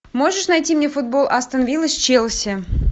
можешь найти мне футбол астон виллы с челси